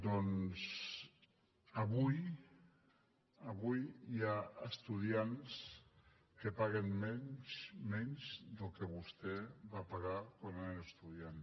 doncs avui avui hi ha estudiants que paguen menys del que vostè va pagar quan era estudiant